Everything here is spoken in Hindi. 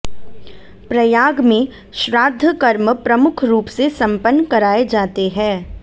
प्रयाग में श्राद्धकर्म प्रमुख रूप से संपन्न कराए जाते हैं